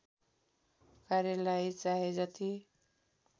कार्यलाई चाहे जति